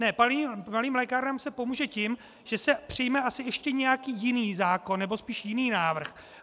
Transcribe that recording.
Ne, malým lékárnám se pomůže tím, že se přijme asi ještě nějaký jiný zákon, nebo spíš jiný návrh.